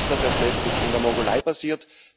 Mir ist das erst letztens in der Mongolei passiert.